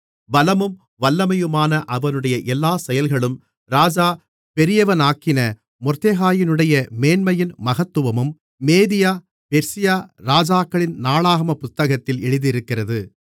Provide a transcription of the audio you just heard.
பலமும் வல்லமையுமான அவனுடைய எல்லா செயல்களும் ராஜா பெரியவனாக்கின மொர்தெகாயினுடைய மேன்மையின் மகத்துவமும் மேதியா பெர்சியா ராஜாக்களின் நாளாகம புத்தகத்தில் எழுதியிருக்கிறது